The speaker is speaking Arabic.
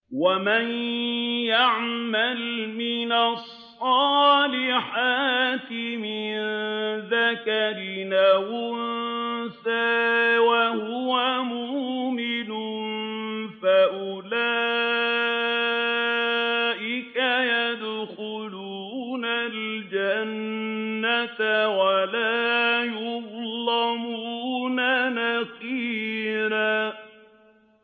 وَمَن يَعْمَلْ مِنَ الصَّالِحَاتِ مِن ذَكَرٍ أَوْ أُنثَىٰ وَهُوَ مُؤْمِنٌ فَأُولَٰئِكَ يَدْخُلُونَ الْجَنَّةَ وَلَا يُظْلَمُونَ نَقِيرًا